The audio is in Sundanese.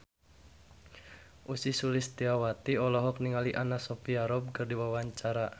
Ussy Sulistyawati olohok ningali Anna Sophia Robb keur diwawancara